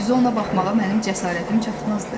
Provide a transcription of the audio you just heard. Düzü, ona baxmağa mənim cəsarətim çatmazdı.